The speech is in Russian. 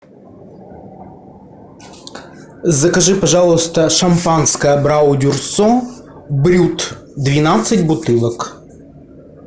закажи пожалуйста шампанское абрау дюрсо брют двенадцать бутылок